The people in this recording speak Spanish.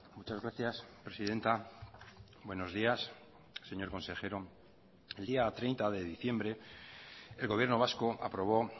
muchas gracias presidenta buenos días señor consejero el día treinta de diciembre el gobierno vasco aprobó